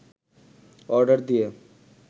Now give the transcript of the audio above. order দিয়ে